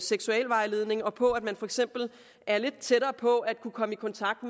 seksualvejledning og på at man for eksempel er lidt tættere på at kunne komme i kontakt